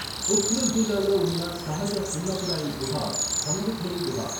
ఉఖ్రుల్ జిల్లాలో ఉన్న సహజ సున్నపురాయి గుహ ఖంగ్ఖుయి గుహ.